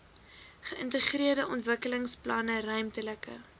geïntegreerde ontwikkelingsplanne ruimtelike